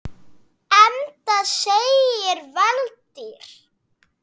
Enda segir Valtýr